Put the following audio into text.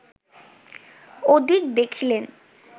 ওদিক দেখিলেন